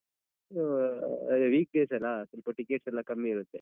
ಆ week days ಅಲ ಸೊಲ್ಪ tickets ಎಲ್ಲಾ ಕಮ್ಮಿ ಇರತ್ತೆ.